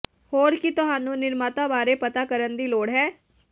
ਹੋਰ ਕੀ ਤੁਹਾਨੂੰ ਨਿਰਮਾਤਾ ਬਾਰੇ ਪਤਾ ਕਰਨ ਦੀ ਲੋੜ ਹੈ